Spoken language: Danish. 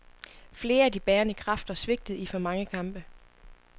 Flere af de bærende kræfter svigtede i for mange kampe.